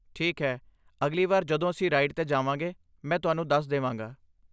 ਠੀਕ ਹੈ, ਅਗਲੀ ਵਾਰ ਜਦੋਂ ਅਸੀਂ ਰਾਈਡ 'ਤੇ ਜਾਵਾਂਗੇ ਮੈਂ ਤੁਹਾਨੂੰ ਦੱਸ ਦੇਵਾਂਗਾ।